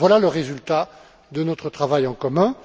Voilà le résultat de notre travail en commun.